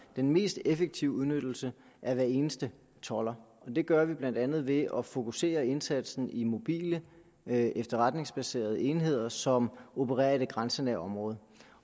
den mest effektive udnyttelse af hver eneste tolder og det gør vi blandt andet ved at fokusere indsatsen i mobile efterretningsbaserede enheder som opererer i det grænsenære område